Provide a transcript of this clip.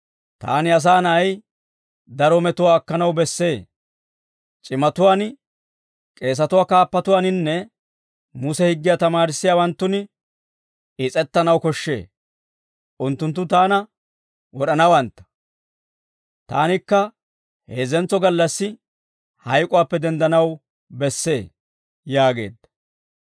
«Taani, Asaa Na'ay, daro metuwaa akkanaw bessee; c'imatuwaan, k'eesatuwaa kaappatuwaaninne Muse higgiyaa tamaarissiyaawanttun is's'ettanaw koshshee; unttunttu taana wod'anawantta; taanikka heezzentso gallassi hayk'uwaappe denddanaw bessee» yaageedda.